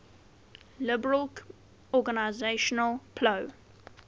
liberation organization plo